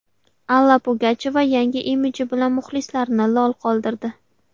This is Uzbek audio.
Alla Pugachyova yangi imiji bilan muxlislarini lol qoldirdi.